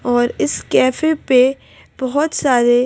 और इस कैफे पे बहुत सारे--